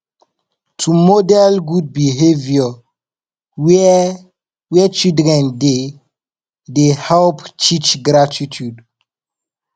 to model good behavour where where children dey dey help teach gratitude